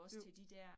Jo